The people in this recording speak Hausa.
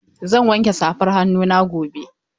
Zan wanke safar hannuna gobe.